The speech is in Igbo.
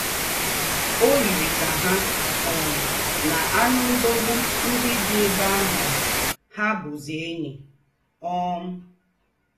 Ó yirì kà ha um na ànù́ ńdọ̀gbù ńdị́ dị́ èbè àhụ̀ hà bùzí ènyì. um